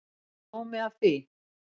Er sómi af því?